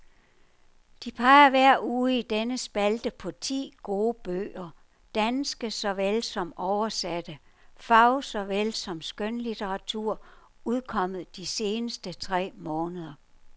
De peger hver uge i denne spalte på ti gode bøger, danske såvel som oversatte, fag- såvel som skønlitteratur, udkommet de seneste tre måneder.